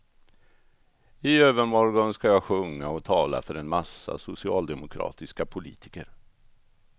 I övermorgon ska jag sjunga och tala för en massa socialdemokratiska politiker.